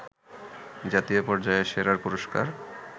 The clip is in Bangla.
জাতীয় পর্যায়ের সেরার পুরস্কার